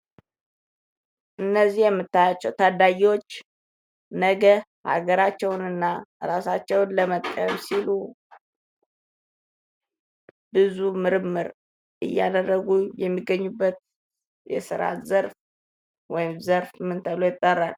እነዚህ የምትመለከቷቸው ታዳጊዎች ነገ ሀገራቸውንና እራሳቸውን ለመጥቀም ሲሉ ብዙ ምርምር እያደረጉ የሚገኙበት የስራ ዘርፍ ምን ተብሎ ይጠራል?